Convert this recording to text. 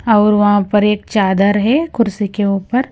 और वहां पर एक चादर है कुर्सी के ऊपर।